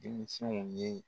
Denmisɛnw ye